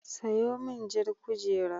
Sayo min jar kujera.